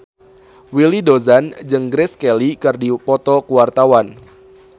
Willy Dozan jeung Grace Kelly keur dipoto ku wartawan